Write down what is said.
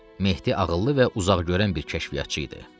Mehdi ağıllı və uzaqgörən bir kəşfiyyatçı idi.